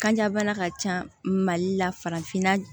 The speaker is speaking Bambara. Kanja bana ka ca mali la farafinna